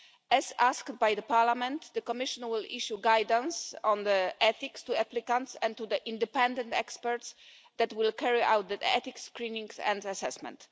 As asked by Parliament, the Commission will issue guidance on the ethics to applicants and to the independent experts that will carry out the ethics screenings and assessment.